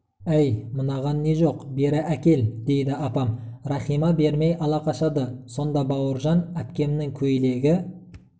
әй мынаған не жоқ бері әкел дейді апам рахима бермей ала қашады сонда бауыржан әпкемнің көйлегі